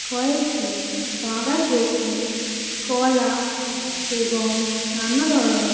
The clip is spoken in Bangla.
কয়েকটি বাঁধাকপি কলা এবং নানা ধরনে--